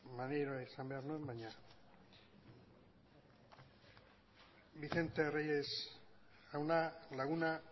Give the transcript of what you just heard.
maneiro esan behar nuen baina vicente reyes jauna laguna